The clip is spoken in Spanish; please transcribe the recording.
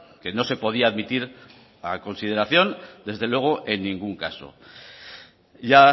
que no se podía admitir a consideración desde luego en ningún caso ya